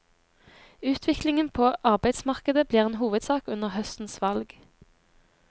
Utviklingen på arbeidsmarkedet blir en hovedsak under høstens valg.